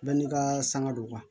Bɛɛ n'i ka sanga don